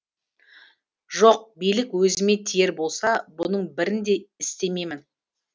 жоқ билік өзіме тиер болса бұның бірін де істемеймін